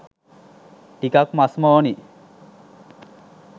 ටිකක් මස්ම ඕනි.